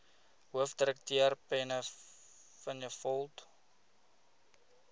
hoofdirekteur penny vinjevold